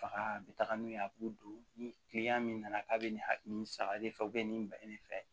Baga a bɛ taaga n'u ye, a b'u don. Ni kiliyan min nana k'a bɛ nin ha nin saba de fɛ, o bɛ nin bila ɲɛfɛ.